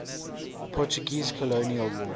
portuguese colonial war